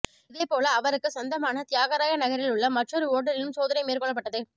இதேபோல அவருக்கு சொந்தமான தியாகராயநகரில் உள்ள மற்றொரு ஓட்டலிலும் சோதனை மேற்கொள்ளப்பட்டது